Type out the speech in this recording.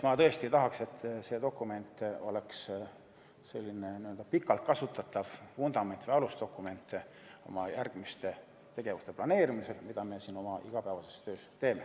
Ma tõesti tahaks, et see dokument oleks selline pikalt kasutatav vundament või alusdokument oma järgmiste tegevuste planeerimisel, mida me siin oma igapäevases töös teeme.